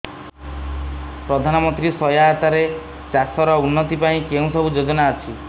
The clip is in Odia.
ପ୍ରଧାନମନ୍ତ୍ରୀ ସହାୟତା ରେ ଚାଷ ର ଉନ୍ନତି ପାଇଁ କେଉଁ ସବୁ ଯୋଜନା ଅଛି